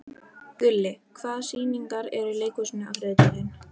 Gulli, hvaða sýningar eru í leikhúsinu á þriðjudaginn?